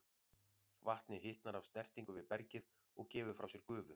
Vatnið hitnar af snertingu við bergið og gefur frá sér gufu.